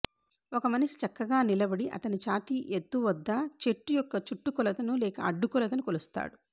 ఒక మనిషి చక్కగా నిలబడి అతని ఛాతి ఎత్తు వద్ద చెట్టు యొక్క చుట్టుకొలత లేక అడ్డుకొలతను కొలుస్తాడు